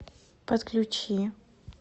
подключи